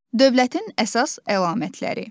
Dövlətin əsas əlamətləri.